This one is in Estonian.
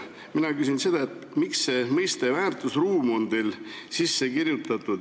Mina küsin, miks te kasutate selle eelnõu puhul mõistet "väärtusruum".